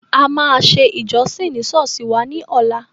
A máa ṣe ìjọsìn ni Sọ́ọ́sì wá ní ọ̀la.